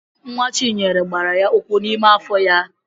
Nwa Chinyere gbara ya ụkwụ n'ime afọ ya.